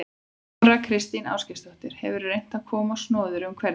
Þóra Kristín Ásgeirsdóttir: Hefurðu reynt að komast á snoðir um hvernig?